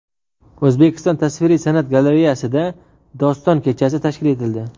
O‘zbekiston tasviriy san’at galereyasida doston kechasi tashkil etildi.